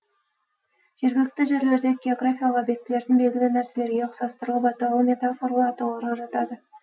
жергілікті жерлердегі географиялық объектілердің белгілі нәрселерге ұқсастырылып аталуы метафоралы атауларға жатады